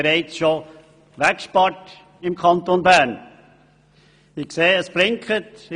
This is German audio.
Dieses haben wir im Kanton Bern bereits weggespart.